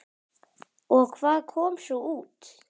Og hvað kom svo út?